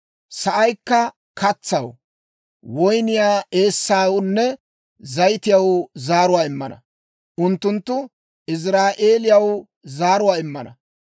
Sa'aykka katsaw, woyniyaa eessawunne zayitiyaw zaaruwaa immana; unttunttu Iziraa'eeliyaw zaaruwaa immana.